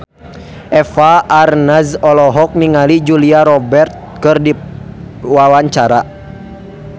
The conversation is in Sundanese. Eva Arnaz olohok ningali Julia Robert keur diwawancara